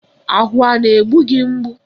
Ahụ a na-egbu gị mgbu?